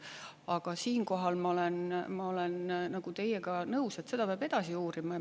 Aga siinkohal ma olen teiega nõus, et seda peab edasi uurima.